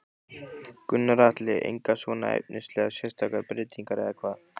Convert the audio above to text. Gunnar Atli: Engar svona efnislegar sérstakar breytingar eða hvað?